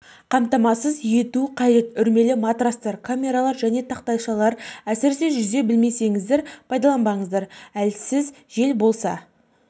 қамтамасыз ету қажет үрлемелі матрастар камералар және тақтайшаларды әсіресе жүзе білмесеңіздер пайдаланбаңыздар әлсіз жел болса